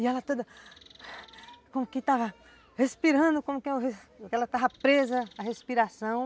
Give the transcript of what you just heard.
E ela toda (respiração) ... como que estava respirando, como que ela estava presa à respiração.